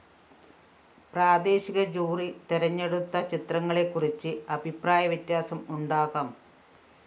പ്രാദേശിക ജൂറി തെരഞ്ഞെടുത്ത ചിത്രങ്ങളെക്കുറിച്ച് അഭിപ്രായവ്യത്യാസം ഉണ്ടാകാം